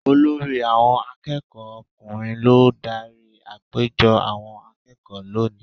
Olórí àwọn akẹ́kọ̀ọ́ ọkùnrin ló dárí àpéjọ àwọn akẹ́kọ̀ọ́ lónìí.